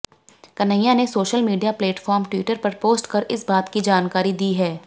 कन्हैया ने social media platform Twitter पर post कर इस बात की जानकारी दी है